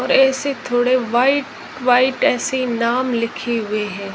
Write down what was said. और ऐसे थोड़े व्हाइट व्हाइट ऐसे नाम लिखे हुए हैं।